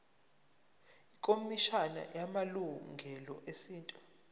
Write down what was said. ikhomishana yamalungelo esintu